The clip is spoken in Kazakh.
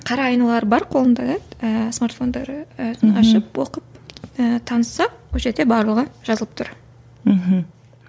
қара айналары бар қолында иә і смартфондары бәрін ашып оқып і танысып ол жерде барлығы жазылып тұр мхм